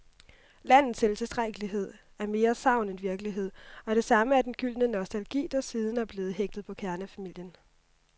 Landets selvtilstrækkelighed er mere sagn end virkelighed, og det samme er den gyldne nostalgi, der siden er blevet hægtet på kernefamilien.